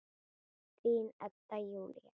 Þín Edda Júlía.